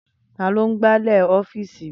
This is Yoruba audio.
Taló n gbálẹ̀ ọ́fìsì mi?